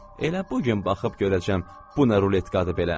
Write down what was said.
Elə bu gün baxıb görəcəm bu nə ruletkadır belə.